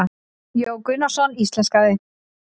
Jón Gunnarsson íslenskaði.